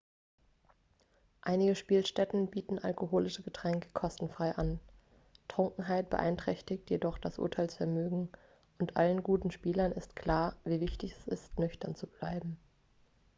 einige spielstätten bieten alkoholische getränke kostenfrei an trunkenheit beeinträchtigt jedoch das urteilsvermögen und allen guten spielern ist klar wie wichtig es ist nüchtern zu bleiben